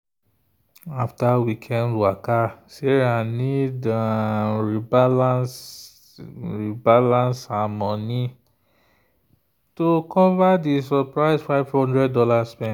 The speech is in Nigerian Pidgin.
after weekend waka sarah need um rebalance rebalance her money to cover the surprise five hundred dollars spend.